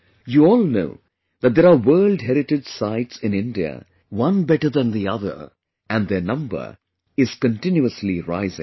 You all know that there are world heritage sites in India and their number is continuously rising